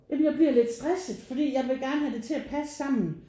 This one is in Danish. Ja men jeg bliver lidt stresset fordi jeg vil gerne have det til at passe sammen